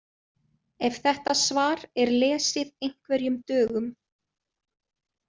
Ef þetta svar er lesið einhverjum dögum.